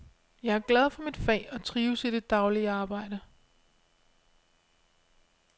Jeg er glad for mit fag og trives i det daglige arbejde.